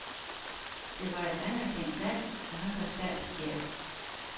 Det var et anerkendt land, og han var statschef.